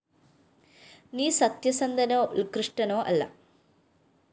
നീ സത്യസന്ധനോ ഉല്‍കൃഷ്ടനോ അല്ല